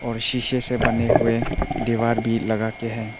और शीशे से बने हुए दीवार भी लगा के है।